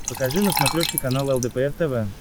покажи на смотрешке канал лдпр тв